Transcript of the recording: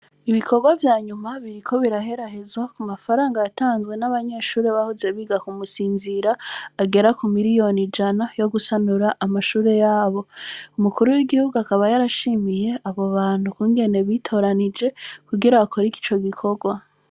Ibikobwa vyanyuma biriko biraherahezwa, ku mafaranga yatanzwe n’abanyeshure bahoze biga ku Musinzira, agera ku miriyoni ijana, yo gusanura amashure yabo; umukuru w’igihugu akaba yarashimiye abo bantu ukungene bitoranije kugira bakore ico gikorwa.